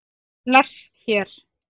Lars hér!